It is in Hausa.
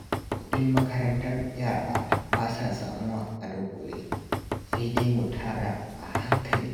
Kudin makarantar yara ba sa samuwa a dunƙule, sai dai mu tara a hankali